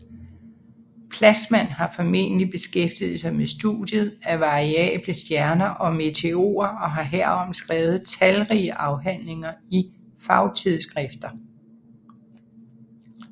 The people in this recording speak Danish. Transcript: Plassmann har fornemmelig beskæftiget sig med studiet af variable stjerner og meteorer og har herom skrevet talrige afhandlinger i fagtidsskrifter